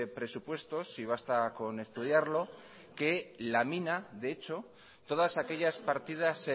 presupuestos y basta con estudiarlo que lamina de hecho todas aquellas partidas